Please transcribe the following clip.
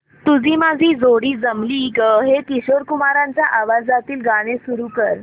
तुझी माझी जोडी जमली गं हे किशोर कुमारांच्या आवाजातील गाणं सुरू कर